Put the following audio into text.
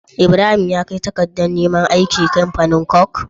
Ibrahim ya kai takadar ne man aiki kamfanin coke?